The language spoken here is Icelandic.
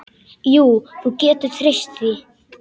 Jú, þú getur treyst því.